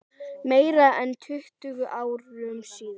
Meira en tuttugu árum síðar.